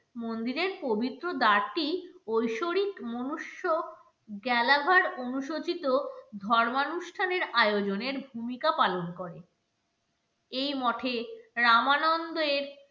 মন্দিরের পবিত্র দ্বারটি ঐশ্বরিক মনুষ্য গ্যালাবার অনুশোচিত ধর্মানুষ্ঠানের আয়োজনের ভূমিকা পালন করে এই মঠে রামানন্দের